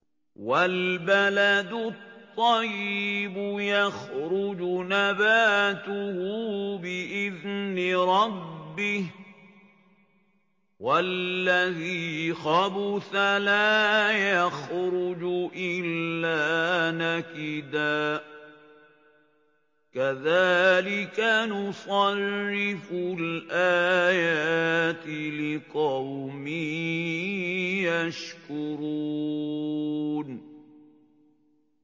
وَالْبَلَدُ الطَّيِّبُ يَخْرُجُ نَبَاتُهُ بِإِذْنِ رَبِّهِ ۖ وَالَّذِي خَبُثَ لَا يَخْرُجُ إِلَّا نَكِدًا ۚ كَذَٰلِكَ نُصَرِّفُ الْآيَاتِ لِقَوْمٍ يَشْكُرُونَ